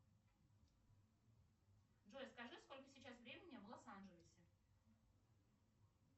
джой скажи сколько сейчас времени в лос анджелесе